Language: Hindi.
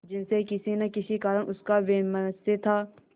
जिनसे किसी न किसी कारण उनका वैमनस्य था